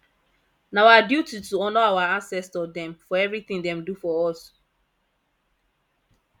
na our duty to honour our ancestor dem for everytin dem do for us